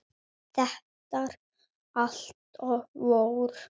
Þeirra helst voru